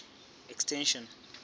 extension